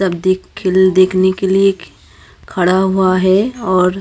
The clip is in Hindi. सब देख खेल देखने के लिए खड़ा हुआ हैं और।